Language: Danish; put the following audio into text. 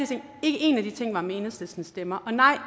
ting ikke én af de ting var med enhedslistens stemmer og nej